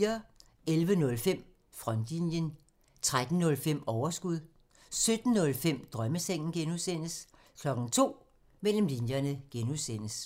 11:05: Frontlinjen 13:05: Overskud 17:05: Drømmesengen (G) 02:00: Mellem linjerne (G)